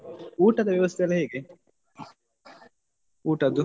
ಊಟದ ವ್ಯವಸ್ಥೆ ಎಲ್ಲ ಹೇಗೆ ಊಟದ್ದು?